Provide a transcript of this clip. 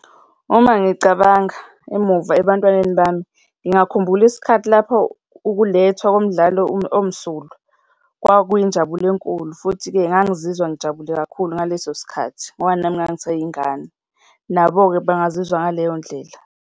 Uma ngicabanga emuva ebantwaneni bami ngingakhumbula isikhathi lapho ukulethwa komdlalo omsulwa. Kwakuyinjabulo enkulu futhi-ke ngangizizwa ngijabule kakhulu ngaleso sikhathi ngoba nami ngangiseyingane, nabo-ke bangazizwa ngaleyo ndlela.